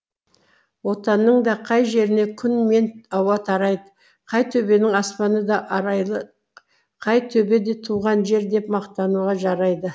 отанның да қай жеріне күн мен ауа тарайды қай төбенің аспаны да арайлы қай төбе де туған жер деп мақтануға жарайды